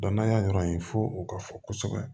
n'an y'a yɔrɔ ye fo o ka fɔ kosɛbɛ